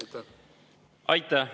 Aitäh!